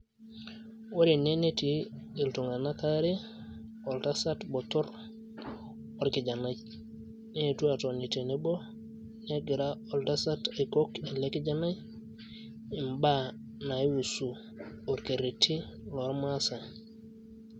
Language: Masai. Ore ene netii iltunganak aare oltasat botor orkijanai neetuo atoni tenebo negira oltasat aikok ele kijanai imba naihusu orkereti loormasae.